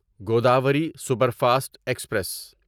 Godavari superfast express